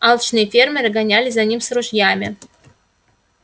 алчные фермеры гонялись за ним с ружьями